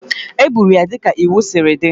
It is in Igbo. E gburu ya dịka iwu siri dị